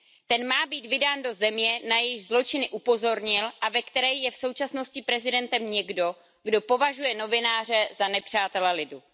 Ten má být vydán do země, na jejíž zločiny upozornil a ve které je v současnosti prezidentem někdo, kdo považuje novináře za nepřátele lidu.